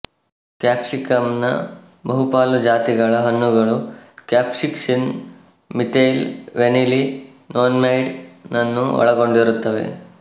capsicum ನ ಬಹುಪಾಲು ಜಾತಿಗಳ ಹಣ್ಣುಗಳು ಕ್ಯಾಪ್ಸೈಸಿನ್ ಮೀಥೈಲ್ ವೆನಿಲೀ ನೊನೆನ್ಮೈಡ್ ನನ್ನು ಒಳಗೊಂಡಿರುತ್ತವೆ